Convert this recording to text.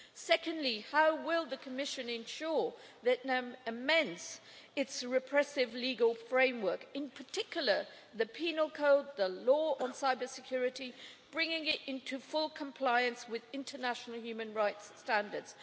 Secondly, how will the Commission ensure that Vietnam amends its repressive legal framework, in particular the penal code, the law on cyber security, bringing it into full compliance with international human rights standards?